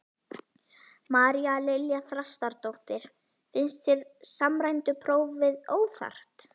María Lilja Þrastardóttir: Finnst þér samræmda prófið óþarft?